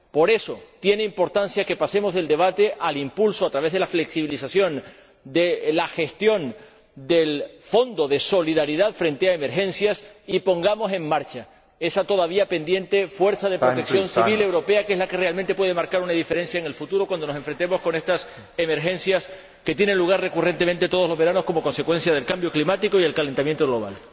Por eso tiene importancia que pasemos del debate al impulso, a través de la flexibilización de la gestión del Fondo de Solidaridad frente a emergencias, y que pongamos en marcha esa todavía pendiente fuerza de protección civil europea, que es la que realmente puede marcar una diferencia en el futuro cuando nos enfrentemos a estas emergencias que tienen lugar recurrentemente todos los veranos como consecuencia del cambio climático y del calentamiento global.